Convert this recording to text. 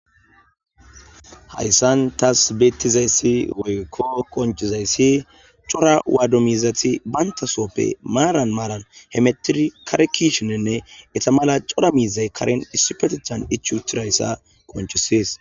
hayssan tas beettizayssi woykko qoncizayssi cora waado miizathi bantasooppe maaran maaran hemetiri karekishininne eta mala cora miizay karen issupetechan ichutirayssa qonchisees